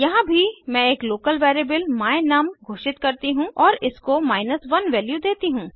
यहाँ भी मैं एक लोकल वेरिएबल my num घोषित करती हूँ और इसको 1 वैल्यू देती हूँ